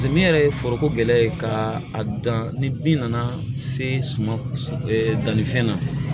Samiyɛ yɛrɛ ye foroko gɛlɛya ye ka a dan ni bin nana se sumalifɛn na